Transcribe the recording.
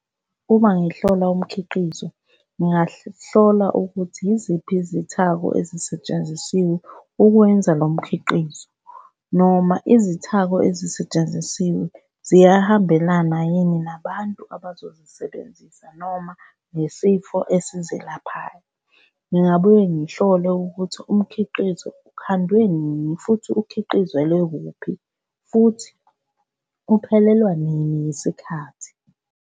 Uma ngihlola umkhiqizo, ngingahlola ukuthi yiziphi izithako ezisetshenzisiwe ukwenza lo mkhiqizo, noma izithako ezisetshenzisiwe ziyahambiselana yini nabantu abazozisebenzisa noma nesifo esizelaphayo. Ngingabuye ngihlole ukuthi umkhiqizo ukhandwe nini futhi ukhiqizelwe kuphi, futhi uphelelwa nini yisikhathi.